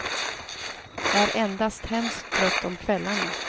Är endast hemskt trött om kvällarna.